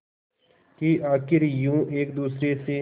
कि आखिर यूं एक दूसरे से